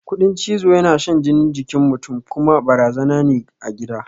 Ƙudin cizo yana shan jini jikin mutun kuma barazana ne a gida